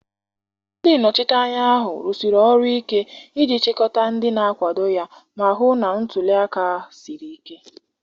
Ndị nnọchiteanya ahụ rụsiri ọrụ ike iji chịkọta ndị na-akwado ya ma hụ na ntuli aka siri ike